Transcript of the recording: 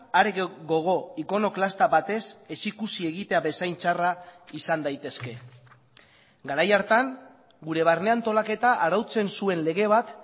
are gogo ikonoklasta batez ez ikusi egitea bezain txarra izan daitezke garai hartan gure barne antolaketa arautzen zuen lege bat